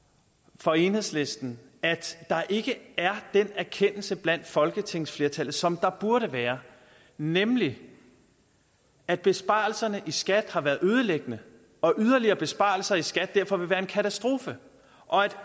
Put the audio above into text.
for enhedslisten at der ikke er den erkendelse blandt folketingsflertallet som der burde være nemlig at besparelserne i skat har været ødelæggende og yderligere besparelser i skat derfor vil være en katastrofe og at